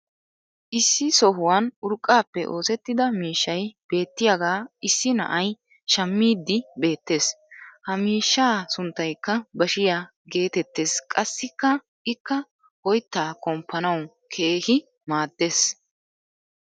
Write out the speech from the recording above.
issi sohuwan urqqaappe oosettida miishshay beettiyaagaa issi na"ay shammiiddi beettees. ha miishshaa sunttaykka bashiyaa geetettees qassikka ikka oyttaa komppanawu keehi maadees.